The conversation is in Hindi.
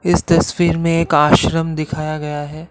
इस तस्वीर में एक आश्रम दिखाया गया है।